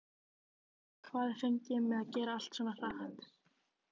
Hvað er fengið með að gera allt svona hratt!